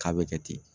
K'a bɛ kɛ ten